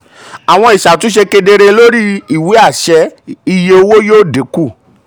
àwọn ìṣàtúnṣe kedere lórí ìwé àṣẹ um iye owó yóò dínkù.